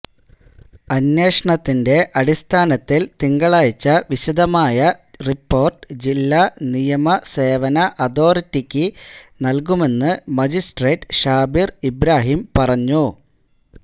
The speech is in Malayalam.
അന്വേഷണത്തിന്റെ അടിസ്ഥാനത്തിൽ തിങ്കളാഴ്ച വിശദമായ റിപ്പോർട്ട് ജില്ലാ നിയമസേവന അതോറിറ്റിക്ക് നൽകുമെന്ന് മജിസ്ട്രേറ്റ് ഷാബിർ ഇബ്രാഹിം പറഞ്ഞു